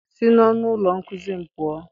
Si n'ọnụ ụlọ nkuzi m pụọ!